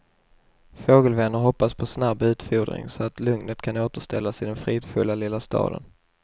Fågelvänner hoppas på snabb utfodring så att lugnet kan återställas i den fridfulla lilla staden.